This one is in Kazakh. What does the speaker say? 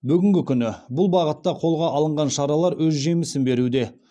бүгінгі күні бұл бағытта қолға алынған шаралар өз жемісін беруде